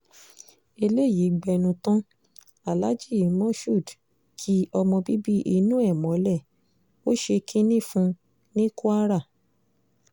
eléyìí gbẹnu tán aláàjì mashood ki ọmọ bíbí inú ẹ̀ mọ́lẹ̀ ó ṣe kínní fún un ní kwara